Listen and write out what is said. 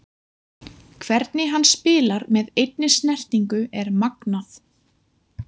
Hvernig hann spilar með einni snertingu er magnað.